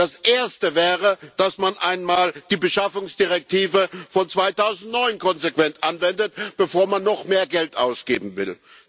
Das Erste wäre, dass man einmal die Beschaffungsrichtlinie von 2009 konsequent anwendet, bevor man noch mehr Geld ausgeben will.